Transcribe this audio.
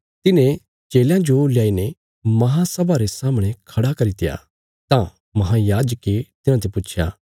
तिन्हें चेलयां जो ल्याईने महासभा रे सामणे खड़ा करित्या तां महायाजके तिन्हांते पुच्छया